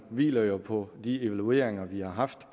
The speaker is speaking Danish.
hviler jo på de evalueringer vi har haft